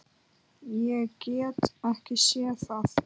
Ég get ekki séð það.